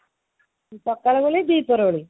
ସକଳ ଓଳି ଦିହି ପହର ଓଳି